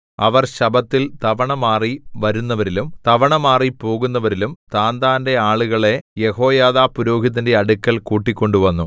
അവർ ശബ്ബത്തിൽ തവണമാറി വരുന്നവരിലും തവണമാറി പോകുന്നവരിലും താന്താന്റെ ആളുകളെ യെഹോയാദാ പുരോഹിതന്റെ അടുക്കൽ കൂട്ടിക്കൊണ്ടുവന്നു